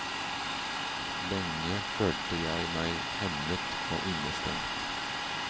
Lenge følte jeg meg hemmet og innestengt.